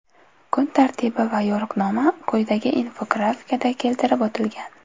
Kun tartibi va yo‘riqnoma quyidagi infografikada keltirib o‘tilgan.